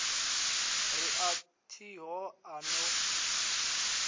ri a thiho a no